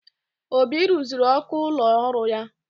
Obi ruziri ọkụ ụlọ ọrụ ya.